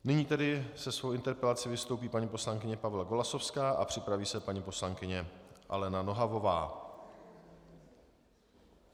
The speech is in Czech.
Nyní tedy se svou interpelací vystoupí paní poslankyně Pavla Golasowská a připraví se paní poslankyně Alena Nohavová.